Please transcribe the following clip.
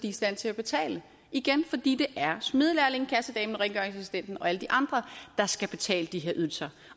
i stand til at betale det igen fordi det er smedelærlingen kassedamen og rengøringsassistenten og alle de andre der skal betale de her ydelser